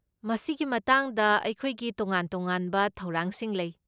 ꯃꯁꯤꯒꯤ ꯃꯇꯥꯡꯗ ꯑꯩꯈꯣꯏꯒꯤ ꯇꯣꯉꯥꯟ ꯇꯣꯉꯥꯟꯕ ꯊꯧꯔꯥꯡꯁꯤꯡ ꯂꯩ꯫